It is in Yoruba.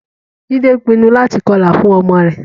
Jide pinnu láti kọlà fún ọmọ rẹ̀